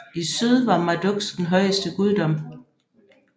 I syd var Marduks den højeste guddom